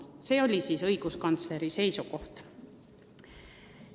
See oli õiguskantsleri seisukoht.